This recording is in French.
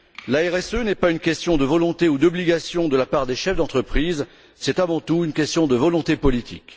La RSE n'est pas une question de volonté ou d'obligation de la part des chefs d'entreprises, c'est avant tout une question de volonté politique.